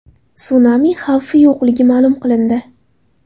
Sunami xavfi yo‘qligi ma’lum qilindi.